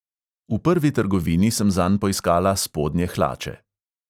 V prvi trgovini sem zanj poiskala spodnje hlače.